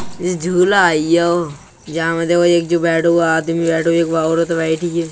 यह झूला अइयो जामे एक जो बैठो एक आदमी बैठो एक औरत बैठी हैं।